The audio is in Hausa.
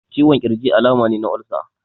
Ciwon ƙirji alama ne na olsa.